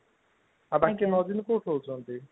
ଆଉ ବାକି ନଅ ଦିନ ସେ କୋଉଠି ରହୁଛନ୍ତି